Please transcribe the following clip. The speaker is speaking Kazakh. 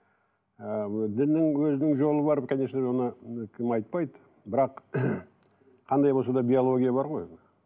ыыы діннің өзінің жолы бар конечно оны кім айтпайды бірақ қандай болса да биология бар ғой